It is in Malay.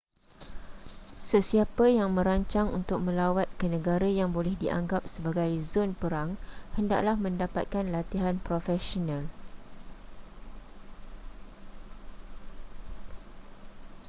sesiapa yang merancang untuk melawat ke negara yang boleh dianggap sebagai zon perang hendaklah mendapatkan latihan profesional